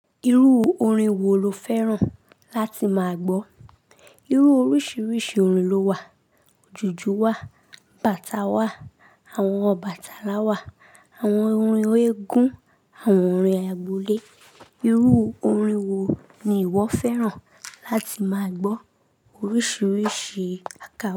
Irú orin wo lo fẹ́ràn láti máa gbọ́? Irú oríṣiríṣi orin lo wà. Ojùju wà, bàtá wà, àwọn bàtálá wà, àwọn orin eégún, àwọn orin àgbole. Irú orin wo ni ìwọ fẹ́ràn láti máa gbọ́? Oríṣiríṣi àkáńṣò.